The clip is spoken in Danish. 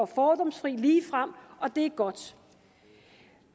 fordomsfri og ligefrem og det er godt